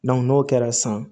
n'o kɛra san